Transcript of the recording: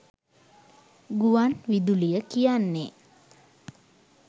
ගුවන් විදුලිය කියන්නේ